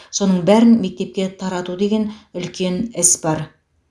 соның бәрін мектепке тарату деген үлкен іс бар